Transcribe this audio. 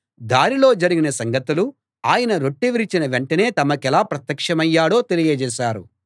దారిలో జరిగిన సంగతులూ ఆయన రొట్టె విరిచిన వెంటనే తమకెలా ప్రత్యక్షమయ్యాడో తెలియజేశారు